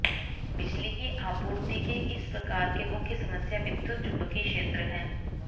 बिजली की आपूर्ति के इस प्रकार के मुख्य समस्या विद्युत चुम्बकीय क्षेत्र है